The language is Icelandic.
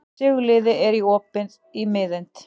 Sigurliði, er opið í Miðeind?